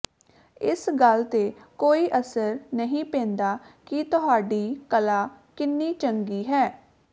ਇਸ ਗੱਲ ਤੇ ਕੋਈ ਅਸਰ ਨਹੀਂ ਪੈਂਦਾ ਕਿ ਤੁਹਾਡੀ ਕਲਾ ਕਿੰਨੀ ਚੰਗੀ ਹੈ